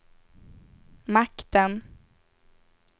makten